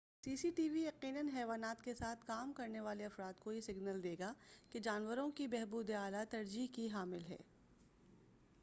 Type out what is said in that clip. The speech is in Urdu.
سی سی ٹی وی یقیناً حیوانات کے ساتھ کام کرنے والے افراد کو یہ سگنل دے گا کہ جانوروں کی بہبود اعلیٰ ترجیح کی حامل ہے